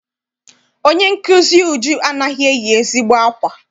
Onye nkụzi Uju anaghị eyi ezigbo akwa.